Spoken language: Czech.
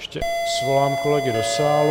Ještě svolám kolegy do sálu.